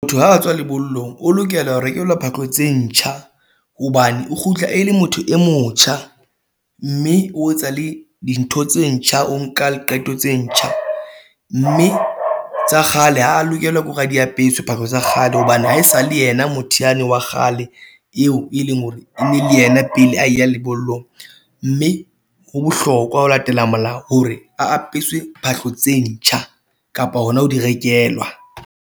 Motho ha a tswa lebollong, o lokela rekelwa phahlo tse ntjha hobane o kgutla e le motho e motjha mme o etsa le dintho tse ntjha. O nka qeto tse ntjha mme tsa kgale ha lokelwa ke hore a diapeswe phahlo tsa kgale hobane ha e sa le yena motho wane wa kgale eo e leng hore e ne le yena pele a ya lebollong mme ho bohlokwa ho latela molao hore a apesitswe phahlo tse ntjha kapa hona ho di rekelwa.